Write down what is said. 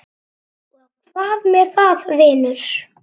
Og hvað með það, vinur?